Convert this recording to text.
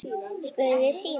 spurði Símon.